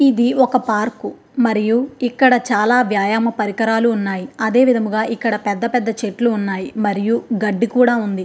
ఇది ఒక పార్క్ ఇక్కడ చాలా రకాల వ్యమా పరికరాలు ఉన్నాయి. అదే విధముగా పెద్ద పెద్ద చెట్లు ఉన్నాయి. మరియు గడ్డి కూడా ఉంది.